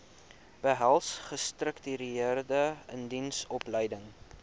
behels gestruktureerde indiensopleiding